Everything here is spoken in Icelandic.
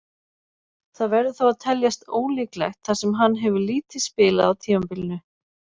Það verður þó að teljast ólíklegt þar sem hann hefur lítið spilað á tímabilinu.